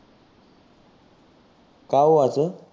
का ओ असं?